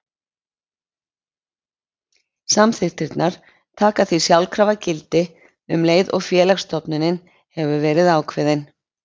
Samþykktirnar taka því sjálfkrafa gildi um leið og félagsstofnunin hefur verið ákveðin.